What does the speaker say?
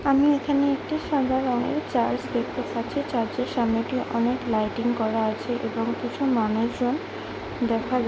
আমি এখানে একটি সাদা রঙের চার্চ দেখতে পাচ্ছি। চার্চের সামনে টি অনেক লাইটিং করা আছে এবং কিছু মানুষ জন দেখা যাহ--